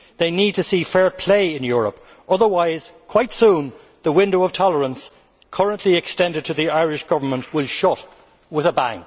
They need to see fair play in Europe, otherwise quite soon the window of tolerance currently opened to the Irish Government will shut with a bang.